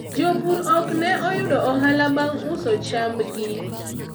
jopur ok ne oyudo ohala bang' uso chamb gi